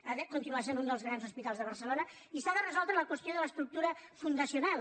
ha de continuar sent un dels grans hospitals de barcelona i s’ha de resoldre la qüestió de l’estructura fundacional